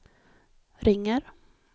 ringer